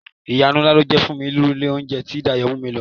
Ìyanu ńlá ni ó jẹ́ fún mi irú ilé oúnjẹ tí Dayọ̀ mú mi lọ.